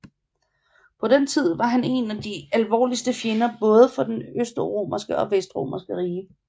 På den tid var han én af de alvorligste fjender både for det østromerske og det vestromerske rige